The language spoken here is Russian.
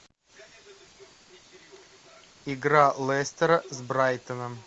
игра лестера с брайтоном